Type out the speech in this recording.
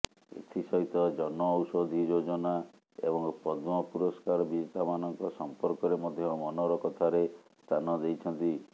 ଏଥିସହିତ ଜନ ଔଷଧି ଯୋଜନା ଏବଂ ପଦ୍ମ ପୁରସ୍କାର ବିଜେତାମାନଙ୍କ ସମ୍ପର୍କରେ ମଧ୍ୟ ମନର କଥାରେ ସ୍ଥାନ ଦେଇଛନ୍ତି